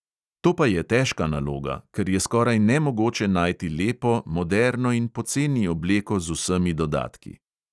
To pa je težka naloga, ker je skoraj nemogoče najti lepo, moderno in poceni obleko z vsemi dodatki.